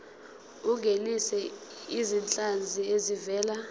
ungenise izinhlanzi ezivela